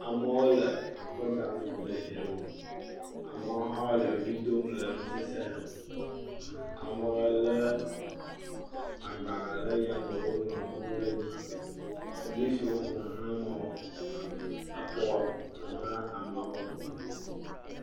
Ame le akɔ dam le dzre wɔm, amewo hã le ʋli dom le nusese hem, amewo lé agbalẽ le yame, woŋlɔ nuwo le dzi. Polisiwo ƒo xla ameawo, exɔ ƒo xla ameawo.